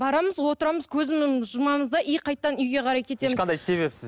барамыз отырамыз көзімізді жұмамыз да и қайтадан үйге қарай ешқандай себепсіз